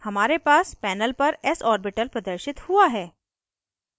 हमारे पास panel पर s orbital प्रदर्शित हुआ है